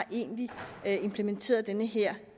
egentlig har implementeret den her